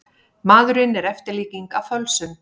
Maðurinn er eftirlíking af fölsun.